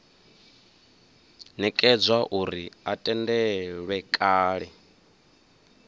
nekedzwa uri a tendelwe kale